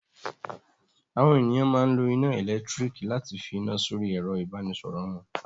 Àwọn ènìyàn máa ń lo iná ẹ̀lẹ́tíríkì láti fi iná sórí ẹ̀rọ-ìbánisọ̀rọ̀ wọn.